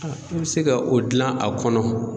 i bɛ se ka o dilan a kɔnɔ